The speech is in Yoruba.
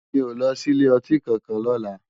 Mi ó lòsí ilé òtín kànkán lòlá